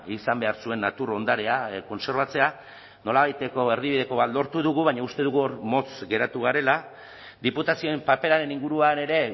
izan behar zuen natur ondarea kontserbatzea nolabaiteko erdibideko bat lortu dugu baina uste dugu hor motz geratu garela diputazioen paperaren inguruan ere